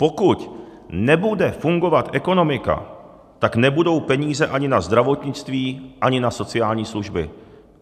Pokud nebude fungovat ekonomika, tak nebudou peníze ani na zdravotnictví, ani na sociální služby.